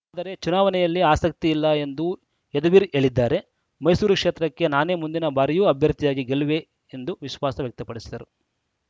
ಆದರೆ ಚುನಾವಣೆಯಲ್ಲಿ ಆಸಕ್ತಿ ಇಲ್ಲ ಎಂದು ಯದುವೀರ್‌ ಹೇಳಿದ್ದಾರೆ ಮೈಸೂರು ಕ್ಷೇತ್ರಕ್ಕೆ ನಾನೇ ಮುಂದಿನ ಬಾರಿಯೂ ಅಭ್ಯರ್ಥಿಯಾಗಿ ಗೆಲ್ಲುವೆ ಎಂದು ವಿಶ್ವಾಸ ವ್ಯಕ್ತಪಡಿಸಿದರು